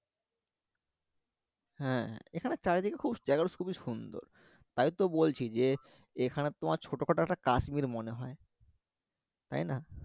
হ্যা এখানে চারিদিকে খুব জায়গা টা খুবই সুন্দর তাইতো বলছি যে এখানে তোমার ছোট খাটো একটা কাশ্মীর মনে হয় তাই না